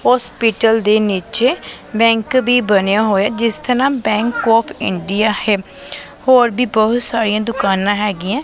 Hospital ਦੇ ਨੀਚੇ bank ਵੀ ਬਣਿਆ ਹੋਇਆ ਜਿਸ ਦਾ ਨਾਮ ਬੈਂਕ ਆਫ ਇੰਡੀਆ ਹੈ ਹੋਰ ਵੀ ਬਹੁਤ ਸਾਰੀਆਂ ਦੁਕਾਨਾਂ ਹੈਗੀਆਂ।